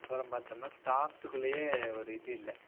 அப்பறம் பாத்தோம்னா staffs குள்ளையே ஒரு இது இல்ல.